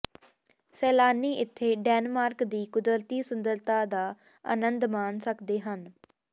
ਸੈਲਾਨੀ ਇੱਥੇ ਡੈਨਮਾਰਕ ਦੀ ਕੁਦਰਤੀ ਸੁੰਦਰਤਾ ਦਾ ਆਨੰਦ ਮਾਣ ਸਕਦੇ ਹਨ